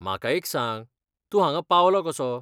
म्हाका एक सांग, तूं हांगा पावलो कसो?